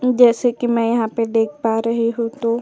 जैसे कि मैं यहाँ पे देख पा रही हूँ कि --